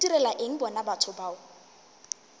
ntirela eng bona batho bao